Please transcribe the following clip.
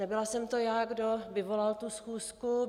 Nebyla jsem to já, kdo vyvolal tu schůzku.